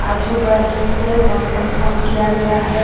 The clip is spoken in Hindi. आजू बाजू से वॉर कम्पाउन्ड किया गया है--